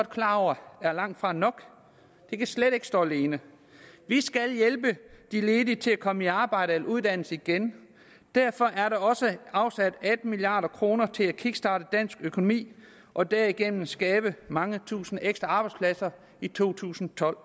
klar over langtfra er nok det kan slet ikke stå alene vi skal hjælpe de ledige til at komme i arbejde eller uddannelse igen derfor er der også afsat atten milliard kroner til at kickstarte dansk økonomi og derigennem skabe mange tusinde ekstra arbejdspladser i to tusind og tolv